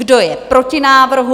Kdo je proti návrhu?